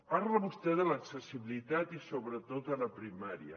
parla vostè de l’accessibilitat i sobretot a la primària